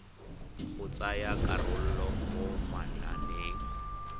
go tsaya karolo mo mananeng